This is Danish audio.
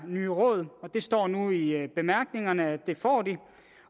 nye råd og det står nu i bemærkningerne at det får de